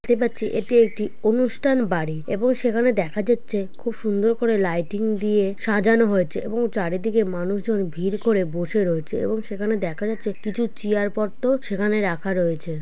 এটি একটি অনুষ্ঠানবাড়ি এবং সেখানে দেখা যাচ্ছে খুব সুন্দরকরে লাইটিং দিয়ে সাজানো হয়েছে. এবং চারিদিকে মানুষজন ভিড় করে বসে রয়েছে ।এবং সেখানে দেখা যাচ্ছে কিছু চিয়ারপত্র সেখানে রাখা রয়েছে।